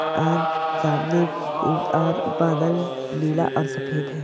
और सामने और बादल नीला और सफेद है।